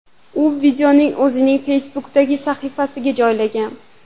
U videoni o‘zining Facebook’dagi sahifasiga joylagan.